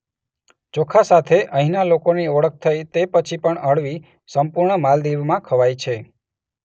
ચોખા સાથે અહીંના લોકોની ઓળખ થઈ તે પછી પણ અળવી સંપૂર્ણા માલદીવમાં ખવાય છે.